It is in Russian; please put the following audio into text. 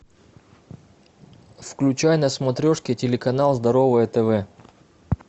включай на смотрешке телеканал здоровое тв